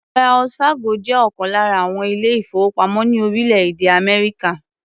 Wells Fargo jẹ́ ọ̀kan lára àwọn ilé-ìfowópamọ́ ní orílẹ̀-èdè Amerika.